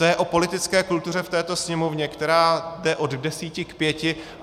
To je o politické kultuře v této Sněmovně, která jde od desíti k pěti.